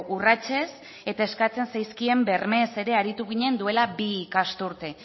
urratsez eta eskatzen zaizkien bermeez ere aritu ginen duela bi ikasturte